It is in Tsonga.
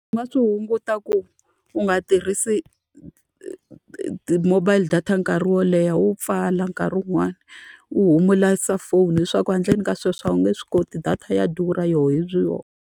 U nga swi hunguta ku u nga tirhisi ti-mobile data nkarhi wo leha, u pfala nkarhi wun'wani. U humurisa cellphone leswaku handleni ka sweswo a wu nge swi koti, data ya durha yona hi vuyona.